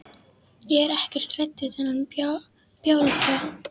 Ég er ekkert hrædd við þennan bjálfa.